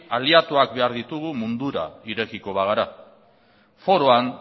aliatuak behar ditugu mundura irekiko bagara foroan